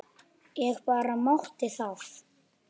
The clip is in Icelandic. Ég bara mátti það!